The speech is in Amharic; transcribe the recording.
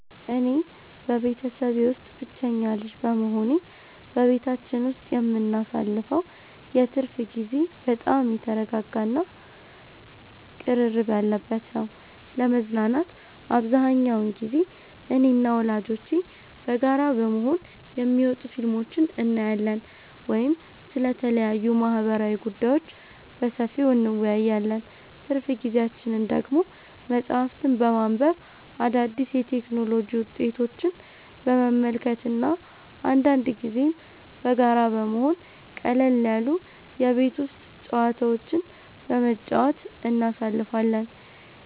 እኔ በቤተሰቤ ውስጥ ብቸኛ ልጅ በመሆኔ፣ በቤታችን ውስጥ የምናሳልፈው የትርፍ ጊዜ በጣም የተረጋጋ እና ቅርርብ ያለበት ነው። ለመዝናናት አብዛኛውን ጊዜ እኔና ወላጆቼ በጋራ በመሆን የሚወጡ ፊልሞችን እናያለን ወይም ስለተለያዩ ማህበራዊ ጉዳዮች በሰፊው እንወያያለን። ትርፍ ጊዜያችንን ደግሞ መጽሐፍትን በማንበብ፣ አዳዲስ የቴክኖሎጂ ውጤቶችን በመመልከት እና አንዳንድ ጊዜም በጋራ በመሆን ቀለል ያሉ የቤት ውስጥ ጨዋታዎችን በመጫወት እናሳልፋለን።